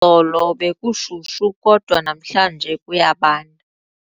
Izolo bekushushu kodwa namhlanje kuyabanda.